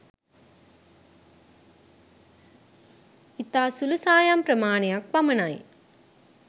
ඉතා සුළු සායම් ප්‍රමාණයක් පමණයි.